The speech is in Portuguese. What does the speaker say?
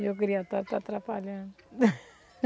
Meu está atrapalhando.